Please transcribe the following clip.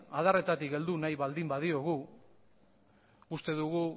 adarretatik heldu nahi baldin badiogu uste dugu